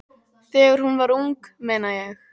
Þegar hún var ung, meina ég.